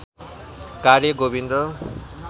कार्य गोविन्द